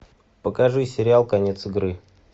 покажи сериал конец игры